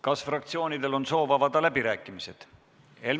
Kas fraktsioonidel on soovi avada läbirääkimisi?